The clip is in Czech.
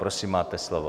Prosím, máte slovo.